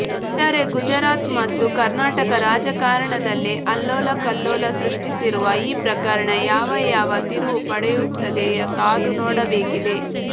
ಒಟ್ಟಾರೆ ಗುಜರಾತ್ ಮತ್ತು ಕರ್ನಾಟಕ ರಾಜಕಾರಣದಲ್ಲಿ ಅಲ್ಲೋಲಕಲ್ಲೋಲ ಸೃಷ್ಟಿಸಿರುವ ಈ ಪ್ರಕರಣ ಯಾವ ಯಾವ ತಿರುವು ಪಡೆಯುತ್ತದೆ ಕಾದುನೋಡಬೇಕಿದೆ